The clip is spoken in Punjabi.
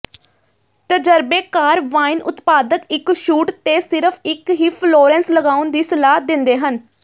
ਤਜਰਬੇਕਾਰ ਵਾਈਨ ਉਤਪਾਦਕ ਇੱਕ ਸ਼ੂਟ ਤੇ ਸਿਰਫ ਇੱਕ ਹੀ ਫਲੋਰੈਂਸ ਲਗਾਉਣ ਦੀ ਸਲਾਹ ਦਿੰਦੇ ਹਨ